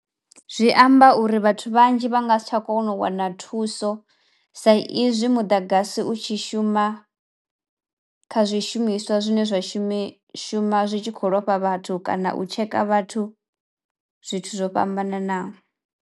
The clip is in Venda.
Zwi amba uri vhathu vhanzhi vha nga si tsha kono u wana thuso sa izwi muḓagasi u tshi shuma kha zwishumiswa zwine zwa shume shuma zwi tshi khou lofha vhathu kana u tsheka vhathu zwithu zwo fhambananaho.